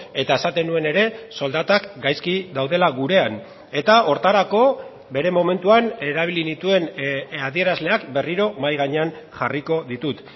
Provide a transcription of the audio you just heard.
eta esaten nuen ere soldatak gaizki daudela gurean eta horretarako bere momentuan erabili nituen adierazleak berriro mahai gainean jarriko ditut